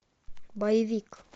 боевик